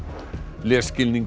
lesskilningur